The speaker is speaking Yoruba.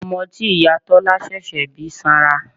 Ọmọ tí ìyá Tọ́lá ṣẹ̀ṣẹ̀ bí sanra.